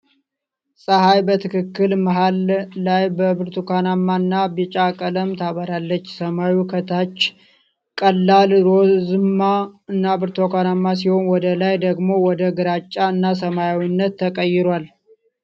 ፀሐይ በትክክል መሃል ላይ በብርቱካንማ እና ቢጫ ቀለም ታበራለች። ሰማዩ ከታች ቀላል ሮዝማ እና ብርቱካንማ ሲሆን ወደ ላይ ደግሞ ወደ ግራጫ እና ሰማያዊነት ይቀየራል።